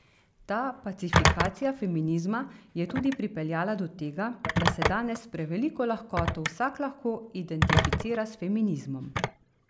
Ta pacifikacija feminizma je tudi pripeljala do tega, da se danes s preveliko lahkoto vsak lahko identificira s feminizmom.